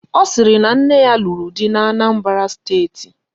Ọ sịrị na nne ya lụrụ di n'Anambara steeti